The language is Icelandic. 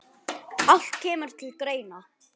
Allt kemur til greina.